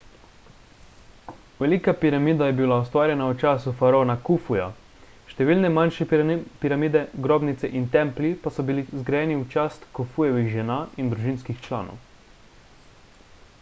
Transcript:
velika piramida je bila ustvarjena v čast faraona kufuja številne manjše piramide grobnice in templji pa so bili zgrajeni v čast kufujevih žena in družinskih članov